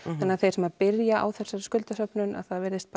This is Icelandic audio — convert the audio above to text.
þannig að þeir sem byrja á þessari skuldasöfnun þá virðist